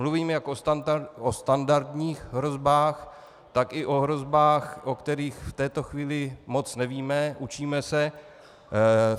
Mluvím jak o standardních hrozbách, tak i o hrozbách, o kterých v této chvíli moc nevíme, učíme se.